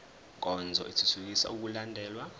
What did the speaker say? nkonzo ithuthukisa ukulandelwa